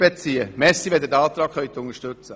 Danke, wenn Sie diesen Antrag unterstützen.